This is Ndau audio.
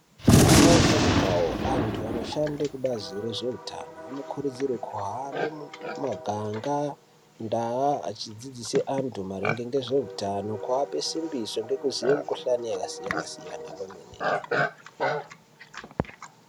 Mukawo ngemukawo antu anoshande kubazi rezveutano anokurudzirwe kuhambe mumaganga, ndaa achidzidzise antu maringe ngezveutano, kuape simbiso ngekuziye mikuhlani yakasiyana siyana kwemene!